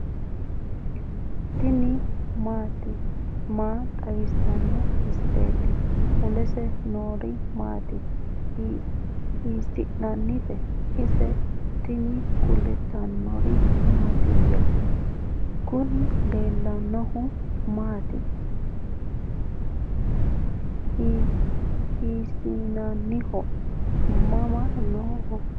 tini maa xawissanno misileeti ? mulese noori maati ? hiissinannite ise ? tini kultannori mattiya? Kunni leelannohu maati? hisinanniho? Mama noo?